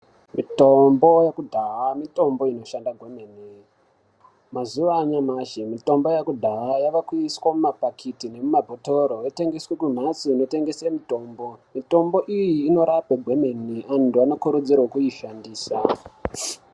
Mitombo yekudhaya mitombo inoshanda kwemene. Mazuwa anyamashi mitombo yekudhaya yavakuiswa mumapakiti nemumabhotoro yotengeswa kumhatso dzinotengeswa mitombo. Mitombo iyi inorapa kwemene. Antu anokurudzirwe kuishandisa.